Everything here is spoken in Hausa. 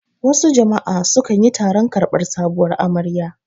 Wasu jama'a su kanyi taron karbar sabuwar amarya